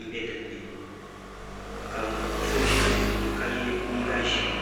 n bɛ di puuni ka so ʒi sunsuuni ka yɛ liiga ʒiɛ